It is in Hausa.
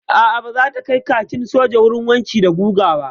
A'a baza ta kai kakin soja wurin wanki da guga ba.